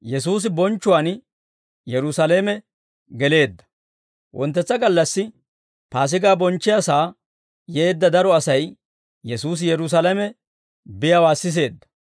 Wonttetsa gallassi Paasigaa bonchchiyaasaa yeedda daro Asay Yesuusi Yerusaalame biyaawaa siseedda.